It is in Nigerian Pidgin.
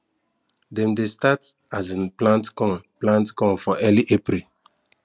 dem de start um plant corn plant corn for early april